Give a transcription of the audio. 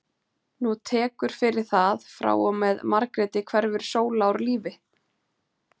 Nú tekur fyrir það, frá og með Margréti hverfur Sóla úr lífi